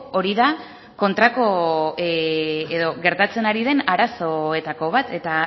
hori da kontrako edo gertatzen ari den arazoetako bat eta